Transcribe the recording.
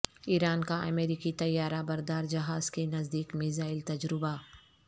ایران کا امریکی طیارہ بردار جہاز کے نزدیک میزائل تجربہ